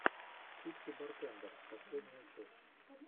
типси бартендер последняя часть